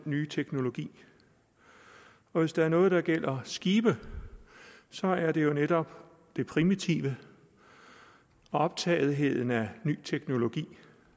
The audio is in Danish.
nye teknologi og hvis der er noget der gælder skibe så er det jo netop det primitive og optagetheden af ny teknologi